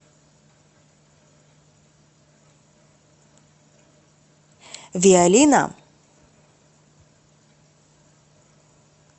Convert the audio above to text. виолина